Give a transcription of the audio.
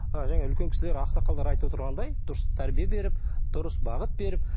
і жаңа үлкен кісілер ақсақалдар айтып отырғандай дұрыс тәрбие беріп дұрыс бағыт беріп